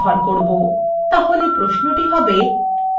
তাহলে প্রশ্নটি হবে :